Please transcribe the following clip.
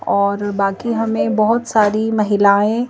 और बाकी हमें बहोत सारी महिलाएं--